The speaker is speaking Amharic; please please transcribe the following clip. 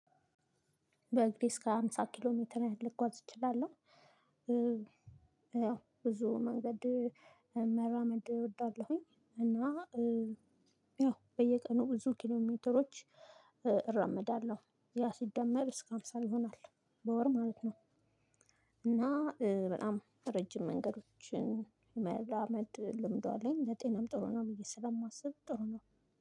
በእግሬ እስከ ሃምሳ ኪሎ ሜትር ልጓዝ እችላለሁ። ያው ብዙ መንገድ መራመድ እወዳለሁኝ እና ያው በየቀኑ ብዙ ኪሎሜትሮች እራምዳለሁ ያ ሲደመር እስከ ሃምሳ ይሆናል በወር ማለት ነው። እና በጣም ረጅም መንገዶችን መራመድ ልምዷለኝ ለጤናም ጥሩ ነው ብዬ ስለማስብ ጥሩ ነው።